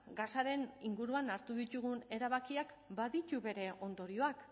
gasaren inguruan hartu ditugun erabakiak baditu bere ondorioak